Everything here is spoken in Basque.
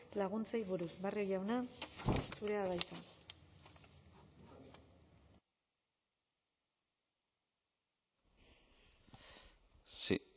laguntzei buruz barrio jauna zurea da hitza sí